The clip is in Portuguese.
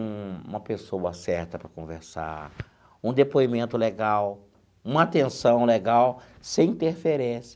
um uma pessoa certa para conversar, um depoimento legal, uma atenção legal, sem interferência.